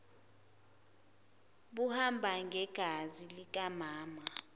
buhamba ngegazi likamama